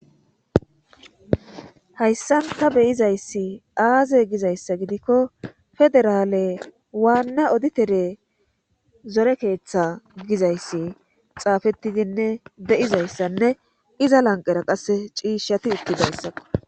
Hayssan ta beyizayssi aaze gizayssa gidikko federaale waanna oditere zore keeththa gizayssi xaafettidinne de7izayssanne iza lanqera qasse ciishshati uttidayssakko.